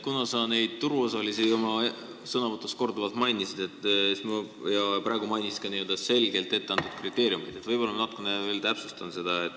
Kuna sa neid turuosalisi oma sõnavõtus korduvalt mainisid ja praegu mainisid ka selgelt etteantud kriteeriumeid, siis võib-olla ma natukene veel täpsustan asja.